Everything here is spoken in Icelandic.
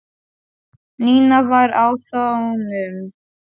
Nína var á þönum.